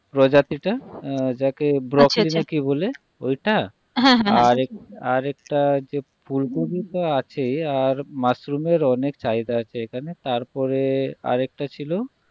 প্রজাতি টা যাকে ব্রোকলি আচ্ছা আচ্ছা না কি বলে ঐটা হ্যাঁ হ্যাঁ আর এক একটা ফুলকপি তো আছে আর মাশরুমের অনেক চাহিদা আছে এইখানে তারপরে আর একটা ছিল